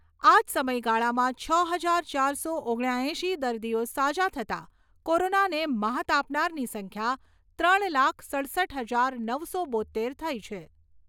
આજ સમયગાળામાં છ હજાર ચારસો ઓગણ્યા એંશી દર્દીઓ સાજા થતાં કોરોનાને મ્હાત આપનારની સંખ્યા ત્રણ લાખ સડસઠ હજાર નવસો બોત્તેર થઈ છે.